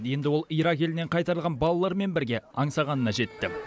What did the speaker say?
енді ол ирак елінен қайтарылған балалармен бірге аңсағанына жетті